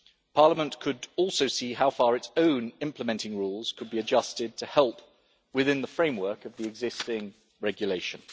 Parliament could also see how far its own implementing rules could be adjusted to help within the framework of the existing regulation.